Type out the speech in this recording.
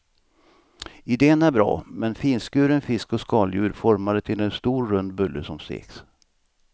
Iden är bra, med finskuren fisk och skaldjur formade till en stor rund bulle som steks.